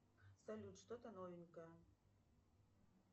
салют что то новенькое